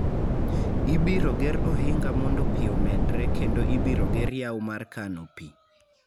Ibiro ger ohinga mondo pi omedre kendo ibiro ger yawo mar kano pi.